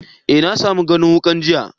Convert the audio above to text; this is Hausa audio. Eh, na samu ganin wukan jiya.